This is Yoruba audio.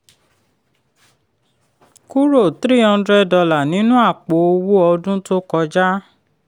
kúrò three hundred dollar nínú àpò owó ọdún tó kọjá.